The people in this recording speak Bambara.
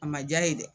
A ma diya ye dɛ